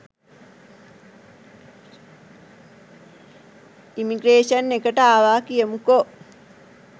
Immigration එකට ආව කියමුකො.